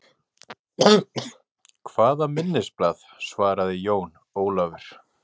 Hvaða minnisblað, svaraði Jón Ólafur.